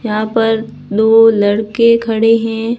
यहां पर दो लड़के खड़े हैं।